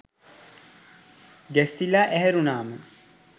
ගැස්සිලා ඇහැරුනාම